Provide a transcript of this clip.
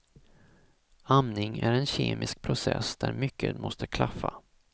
Amning är en kemisk process där mycket måste klaffa.